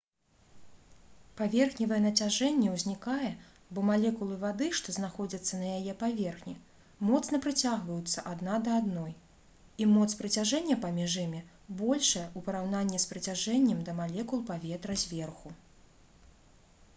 паверхневае нацяжэнне ўзнікае бо малекулы вады што знаходзяцца на яе паверхні моцна прыцягваюцца адна да адной і моц прыцяжэння паміж імі большая у параўнанні з прыцяжэннем да малекул паветра зверху